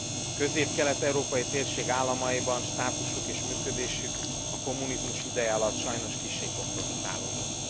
A közép kelet európai térség államaiban státusuk és működésük a kommunizmus ideje alatt sajnos kissé kompromittálódott.